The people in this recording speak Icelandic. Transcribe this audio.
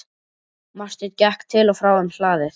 Marteinn gekk til og frá um hlaðið.